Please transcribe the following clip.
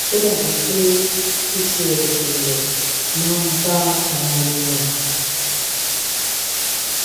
ó dàbí pé ptsd rẹ máa ń bá ara wọn rìn